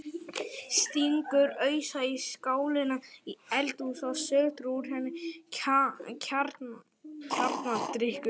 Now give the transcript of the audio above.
Stingur ausu í skálina í eldhúsinu og sötrar úr henni kjarnadrykkinn.